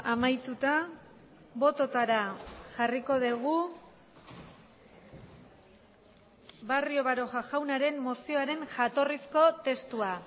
amaituta bototara jarriko dugu barrio baroja jaunaren mozioaren jatorrizko testua